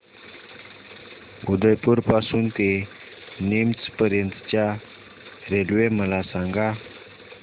उदयपुर पासून ते नीमच पर्यंत च्या रेल्वे मला सांगा